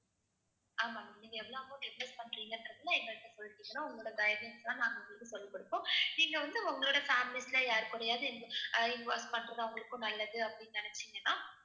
ஆமா ma'am நீங்க எவ்வளவு amount invest பண்றீங்கன்றதை எங்ககிட்ட சொல்லிட்டீங்கன்னா உங்களோட guidelines தான் நாங்க உங்களுக்குச் சொல்லிக் கொடுப்போம். நீங்க வந்து உங்களோட families ல யார் கூடயாவது invo~ அஹ் involve பண்றது அவங்களுக்கும் நல்லது அப்படின்னு நினைச்சீங்கன்னா